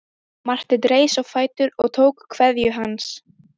Marteinn reis á fætur og tók kveðju hans.